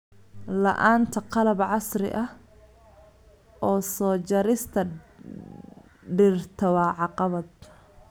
La'aanta qalab casri ah oo jarista dhirta waa caqabad.